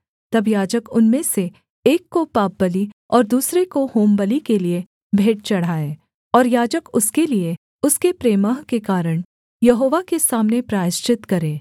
तब याजक उनमें से एक को पापबलि और दूसरे को होमबलि के लिये भेंट चढ़ाए और याजक उसके लिये उसके प्रमेह के कारण यहोवा के सामने प्रायश्चित करे